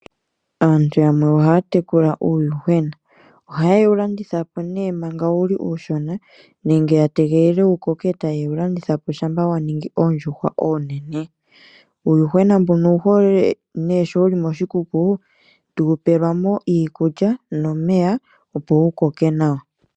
Aantu yamwe ohaya tekula uuyuhwena, oha ye wulandithapo nee manga wuli uushona nenge ya tegelele wukoke eta yewulandithapo shampa wa ningi oondjuhwa oonene. Uuyuhwena mbuno owuhole nee sho wuli koshikuku tuu pelwamo iikulya nomeya opo wukoke nawa.